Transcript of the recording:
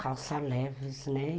Calça leves, né?